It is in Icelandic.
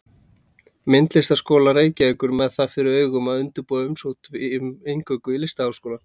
Myndlistarskóla Reykjavíkur með það fyrir augum að undirbúa umsókn um inngöngu í Listaháskólann.